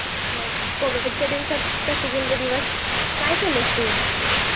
मग कॅव्हिडच्या दिवसात कसे गेले दिवस काय केलास तू?